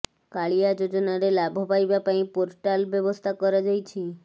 କାଳିଆ ଯୋଜନାରେ ଲାଭ ପାଇବା ପାଇଁ ପୋର୍ଟାଲ ବ୍ୟବସ୍ଥା କରାଯାଇଛି